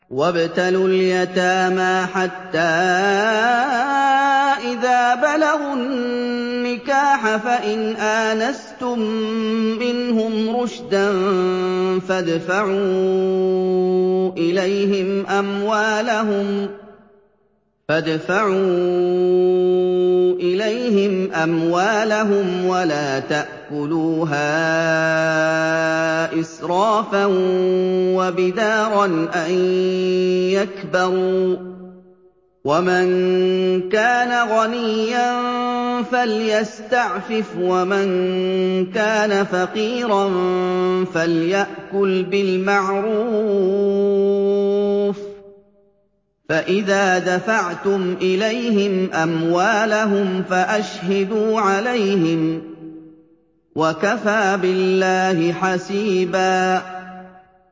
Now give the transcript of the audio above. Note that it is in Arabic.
وَابْتَلُوا الْيَتَامَىٰ حَتَّىٰ إِذَا بَلَغُوا النِّكَاحَ فَإِنْ آنَسْتُم مِّنْهُمْ رُشْدًا فَادْفَعُوا إِلَيْهِمْ أَمْوَالَهُمْ ۖ وَلَا تَأْكُلُوهَا إِسْرَافًا وَبِدَارًا أَن يَكْبَرُوا ۚ وَمَن كَانَ غَنِيًّا فَلْيَسْتَعْفِفْ ۖ وَمَن كَانَ فَقِيرًا فَلْيَأْكُلْ بِالْمَعْرُوفِ ۚ فَإِذَا دَفَعْتُمْ إِلَيْهِمْ أَمْوَالَهُمْ فَأَشْهِدُوا عَلَيْهِمْ ۚ وَكَفَىٰ بِاللَّهِ حَسِيبًا